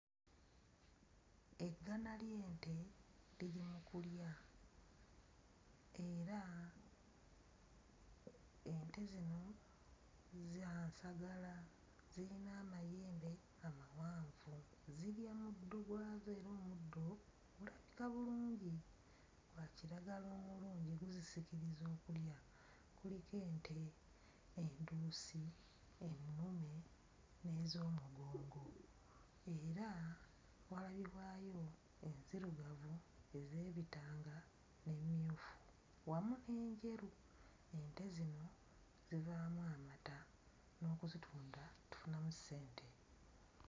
Eggana ly'ente liri mu kulya era ente zino za nsagala, zirina amayembe amawanvu, zirya muddo gwazo era omuddo gulabika bulungi, gwa kiragala omulungi guzisikiriza okulya. Kuliko ente enduusi, ennume n'ez'omugongo. era walabibwayo enzirugavu, ez'ebitanga n'emmyufu wamu n'enjeru. Ente zino zivaamu amata n'okuzitunda tufunamu ssente.